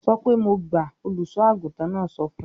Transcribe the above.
"Sọ pé mo gbà!" Olùṣọ́-àgùntàn náà sọ fún un.